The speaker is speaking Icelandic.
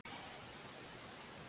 Margir spyrja: Hvað gerðist?